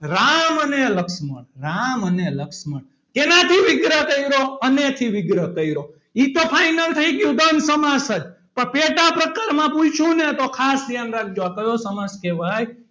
રામ અને લક્ષ્મણ રામ અને લક્ષ્મણ શેનાથી વિગ્રહ કર્યો. અને થી વિગ્રહ કર્યો એ તો final થઈ ગયું. દ્વંદ સમાસ પણ પેટા પ્રકારમાં પૂછ્યું. ને તો ખાસ ધ્યાન રાખજો. આ કયો સમાસ કહેવાય.